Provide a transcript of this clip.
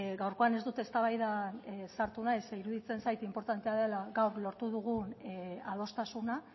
gaurkoan ez dut eztabaidan sartu nahi zeren eta iruditzen zait inportantea dela gaur lortu dugun adostasuna